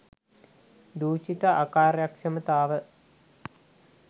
දූෂිත අකාර්යක්ෂමතාව